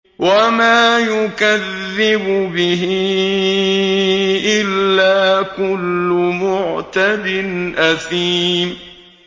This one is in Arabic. وَمَا يُكَذِّبُ بِهِ إِلَّا كُلُّ مُعْتَدٍ أَثِيمٍ